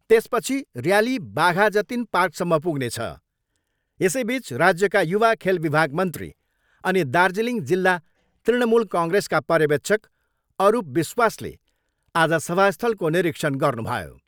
त्यसपछि ऱ्याली बाघाजतिन पार्कसम्म पुग्नेछ। यसैबिच राज्यका युवा खेल विभाग मन्त्री अनि दार्जिलिङ जिल्ला तृणमूल कङ्ग्रेसका पर्यवेक्षक अरूप विश्वासले आज सभास्थलको निरीक्षण गर्नुभयो।